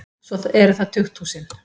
Svo eru það tukthúsin.